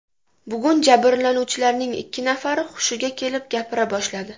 Bugun jabrlanuvchilarning ikki nafari hushiga kelib gapira boshladi.